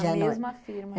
Na mesma firma?